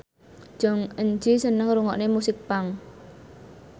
Jong Eun Ji seneng ngrungokne musik punk